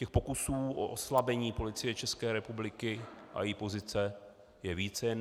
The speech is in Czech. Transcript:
Těch pokusů o oslabení Policie České republiky a její pozice je více.